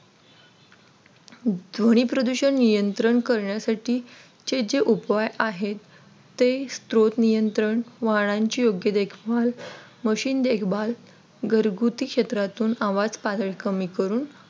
ध्वनी प्रदूषण नियंत्रण करण्यासाठी चे जे उपाय आहेत. ते स्त्रोत नियंत्रण वाहनांची योग्य देखभाल मशीन देखभाल घरगुती क्षेत्रातून आवाज पातळी कमी करून